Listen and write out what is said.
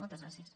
moltes gràcies